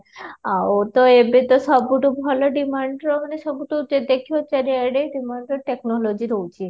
ଆଉ ତ ସବୁଠୁ ଭଲ demand ରେ ମାନେ ସବୁଠୁ ଦେଖିବ ଚାରିଆଡେ demand ରେ technology ରହୁଛି